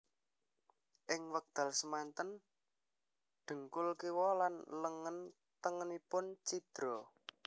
Ing wekdal semanten dhengkul kiwa lan lengen tengenipun cidra